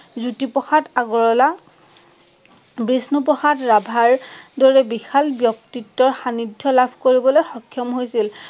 জ্যোতি প্ৰসাদ আগৰৱালা বিষ্ণু প্ৰসাদ ৰাভৰ দৰে বিশাল ব্যক্তিত্বৰ সান্নিধ্য লাভ কৰিবলৈ সক্ষম হৈছিল।